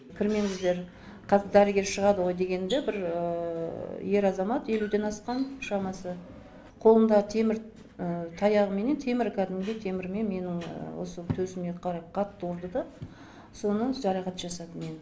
кірмеңіздер қазір дәрігер шығады ғой дегенімде бір ер азамат елуден асқан шамасы қолында темір таяғыменен темір кәдімгідей темірмен менің осы төсіме қарай қатты ұрды да соны жарақат жасады мені